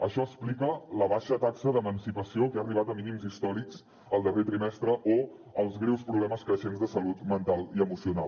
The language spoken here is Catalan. això explica la baixa taxa d’emancipació que ha arribat a mínims històrics el darrer trimestre o els greus problemes creixents de salut mental i emocional